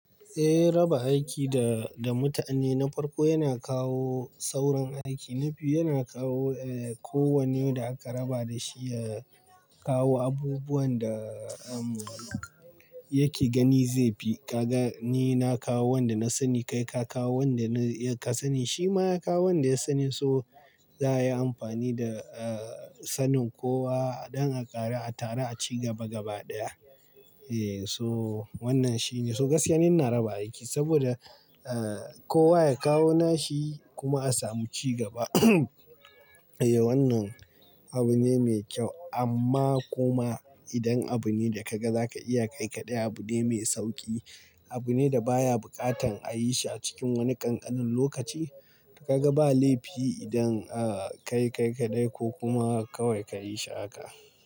Eh raba aiki da, da mutane na farko yana kawo sauran aiki. Na biyu yana kawo eh ko wane da aka raba da shi ya kawo abubuwan da em yake gani zai fi. Ka ga ni na kawo wanda na sani kai ka kawo wanda ka sani shi ma ya kawo wanda ya sani so za a yi amfani da eh sanin kowa dan a ƙaru a taru a ci gaba gaba ɗaya. Eh so wannan shine. So gaskiya ni ina raba aiki saboda eh kowa ya kawo nashi kuma a samu cigaba. Eh wannan abu ne mai kyau amma kuma idan abu ne da ka ga za ka iya kai kaɗai, abu ne mai sauƙi, abu ne da baya buƙatan a yi shi a cikin wani ƙanƙanin lokaci, ka ga ba laifi idan a ka kai kaɗai ko kuma kawai ka yi shi haka.